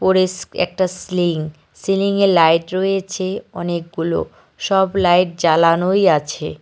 পরিস্ক একটা স্লিং সিলিংয়ে লাইট রয়েছে অনেকগুলো সব লাইট জ্বালানোই আছে।